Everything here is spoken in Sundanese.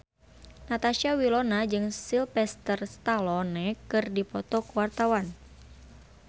Natasha Wilona jeung Sylvester Stallone keur dipoto ku wartawan